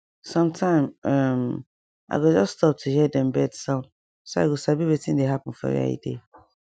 sometime um i go just stop to hear dem bird sound so i go sabi wetin dey happen for where i dey